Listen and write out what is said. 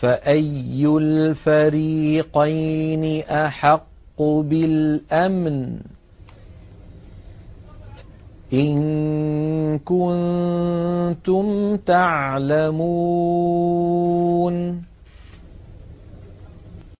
فَأَيُّ الْفَرِيقَيْنِ أَحَقُّ بِالْأَمْنِ ۖ إِن كُنتُمْ تَعْلَمُونَ